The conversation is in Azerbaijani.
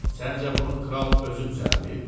Səncə bunu kral özü düzəldib?